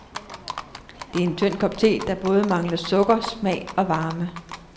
Det er en tynd kop te, der både mangler sukker, smag og varme.